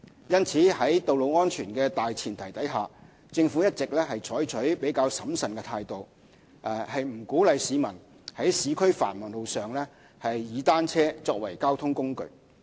因此，在道路安全的大前提下，政府一直採取較審慎的態度，不鼓勵市民在市區繁忙路上以單車作為交通工具。